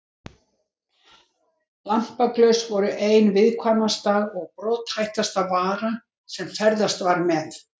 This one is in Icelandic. Lampaglös voru ein viðkvæmasta og brothættasta vara sem ferðast var með.